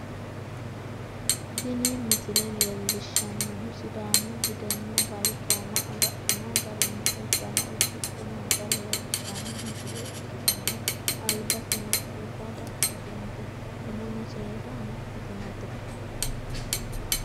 Tini misile leellishshannohu sidaamu budenna balchooma agadhino garinni uddano udidhe noota leellishshanno misile ikkitanna, albaseno qurra dadhitinote, umono seeda amaxxitinote.